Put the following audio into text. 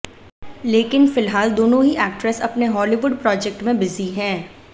लेकिन फिलहाल दोनों ही एक्ट्रेस अपने हॉलीवुड प्रोजेक्ट में बिजी हैं